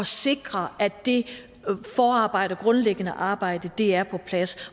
sikre at det forarbejde at det grundlæggende arbejde er på plads